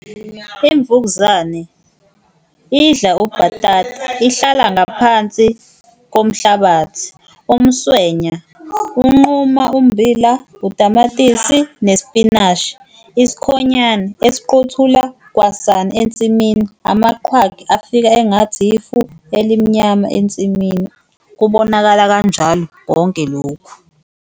Imvukuzane idla ubhatata ihlala ngaphansi komhlabathi, umswenya unquma ummbila, utamatisi, nespinashi, isikhonyana esiqothula kwasani ensimini, amaqhwagi afika engathi ifu elimnyama ensimini, kubonakala kanjalo konke lokhu.